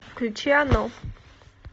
включи оно